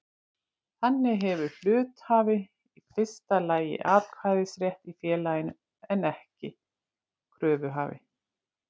Þannig hefur hluthafi í fyrsta lagi atkvæðisrétt í félaginu en kröfuhafi ekki.